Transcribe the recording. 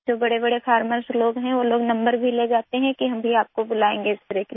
जो बड़े बड़े फार्मर्स लोग हैं वो लोग नंबर भी ले जाते हैं कि हम भी आपको बुलाएँगे स्प्रे के लिए